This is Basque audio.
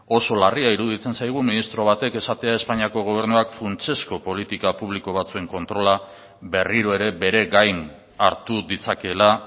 oso larria iruditzen zaigu ministro batek esatea espainiako gobernuak funtsezko politika publiko batzuen kontrola berriro ere bere gain hartu ditzakeela